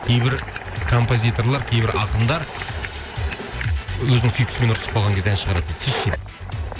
кейбір композиторлар кейбір ақындар өзінің сүйіктісімен ұрсысып қалған кезде ән шығарады дейді сіз ше дейді